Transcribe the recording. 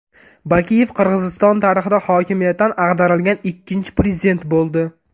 Bakiyev Qirg‘iziston tarixida hokimiyatdan ag‘darilgan ikkinchi prezident bo‘ldi.